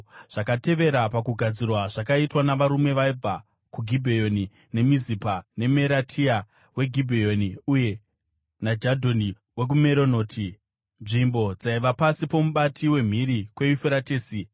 Zvakatevera pakugadzirwa zvakaitwa navarume vaibva kuGibheoni neMizipa, naMeratia weGibheoni uye naJadhoni wokuMeronoti, nzvimbo dzaiva pasi pomubati wemhiri kweYufuratesi.